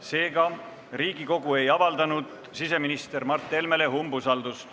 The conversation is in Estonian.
Seega ei avaldanud Riigikogu siseminister Mart Helmele umbusaldust.